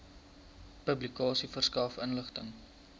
publikasie verskaf inligting